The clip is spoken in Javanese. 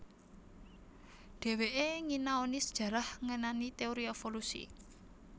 Dheweke nginaoni sejarah ngenani teori evolusi